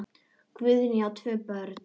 Guðný á tvö börn.